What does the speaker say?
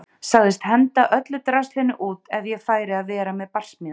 Sagðist henda öllu draslinu út ef ég færi að vera með barsmíðar.